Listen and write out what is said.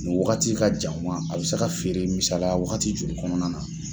Ni wagati ka jan wa? A bɛ se ka feere misaliya la wagati joli kɔnɔna na ?